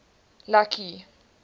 lucky